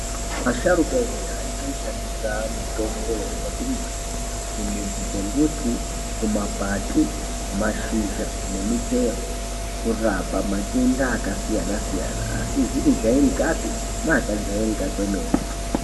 Asharuka ekudhaya aishandisa mutombo yaibva kumbuti kumudzi dzembuti kumakwati mashizha nemuchero kurapa matebda akasiyana siyana asizi kujairika pe neakajairika kwemene.